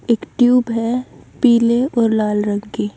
एक ट्यूब है पीले और लाल रंग की।